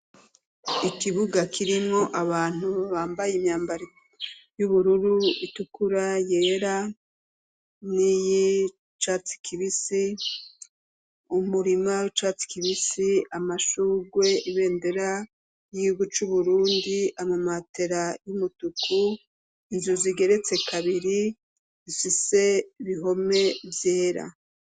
Ikibuga kirimwo abantu babambaye imyambaro y'ubururu itukura yera ni ye casi kibisi umurima casi kibisi amashurwe ibendera yiro c'uburundi amamatera y'umutuku inzurwa zigeretse kabiri sise bihome vyera.